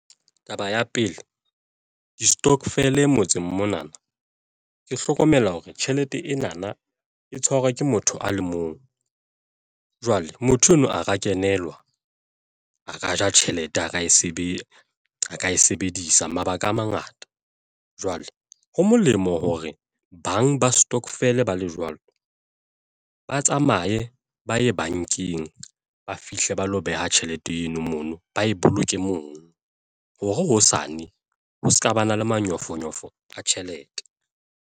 Taba ya pele, distokvel motseng mona na ke hlokomela hore tjhelete ena na e tshwarwa ke motho a le mong jwale motho enwa a ka kenelwa a ka ja tjhelete, a ka e sebedisa mabaka a mangata, jwale ho molemo hore bang ba stokvel ba le jwalo, ba tsamaye, ba ye bankeng, ba fihle ba lo beha tjhelete eno mono ba e boloke mono hore hosane ho se ka ba na le manyofonyofo a tjhelete.